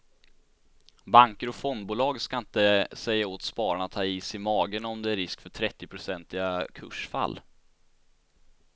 Banker och fondbolag ska inte säga åt spararna att ha is i magen om det är en risk för trettionprocentiga kursfall.